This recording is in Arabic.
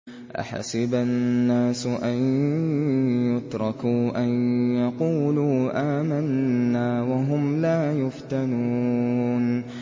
أَحَسِبَ النَّاسُ أَن يُتْرَكُوا أَن يَقُولُوا آمَنَّا وَهُمْ لَا يُفْتَنُونَ